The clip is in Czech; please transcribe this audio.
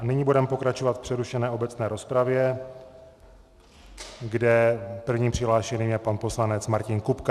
A nyní budeme pokračovat v přerušené obecné rozpravě, kde první přihlášený je pan poslanec Martin Kupka.